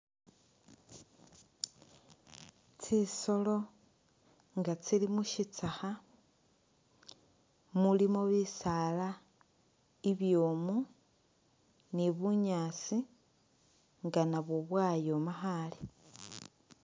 Tsisoolo nga tsili mushitsakha mulimo bisaala ibwomu ni bunyaasi nga nabwo bwayooma khaale.